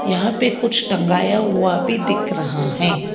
यहां पे कुछ टंगाया हुआ भी दिख रहा हैं।